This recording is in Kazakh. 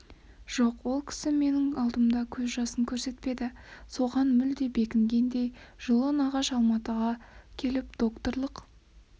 жоқ ол кісі менің алдымда көз жасын көрсетпеді соған мүлде бекінгендей жылы нағаш алматыға келіп доктолық